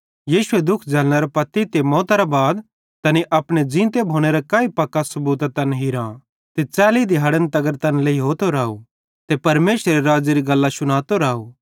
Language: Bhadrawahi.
यीशुए दुःख झ़ैलनेरां ते मौतरे बाद तैनी अपने ज़ींते भोनेरां काई पक्कां सबूतां तैन हीरां ते 40 दिहाड़न तगर तैन लेइहोतो राव ते परमेशरेरे राज़्ज़ेरे गल्लां शुनातो राव